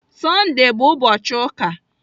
Sọndee bụ ụbọchị ụka